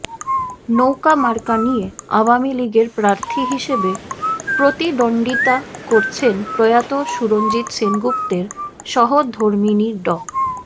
নৌকা মার্কা নিয়ে আওয়ামী লীগের প্রার্থী হিসেবে প্রতিদ্বন্দ্বিতা করছেন প্রয়াত সুরঞ্জিত সেনগুপ্তের সহধর্মিণী ড